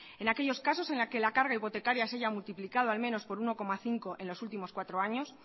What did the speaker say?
en aquellos casos en que la carga hipotecaria se haya multiplicado al menos por uno coma cinco en los últimos cuatro años